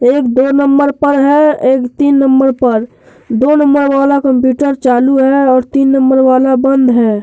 एक दो नंबर पर है। एक तीन नंबर पर। दो नंबर वाला कंप्यूटर चालू है और तीन नंबर वाला बंद है।